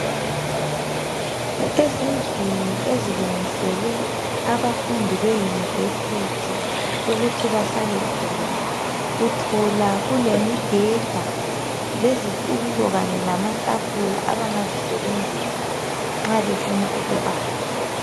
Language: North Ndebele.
Ezindlini ezilungiselwe abafundi be university ukuthi bahlale khona, uthola kulemibheda lezitulo kanye lamatafula abangazisebenzisa nxa befuna ukubala.